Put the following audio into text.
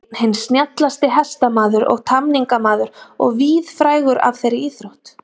Einn hinn snjallasti hestamaður og tamningamaður og víðfrægur af þeirri íþrótt.